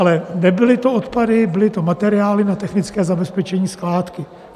Ale nebyly to odpady, byly to materiály na technické zabezpečení skládky.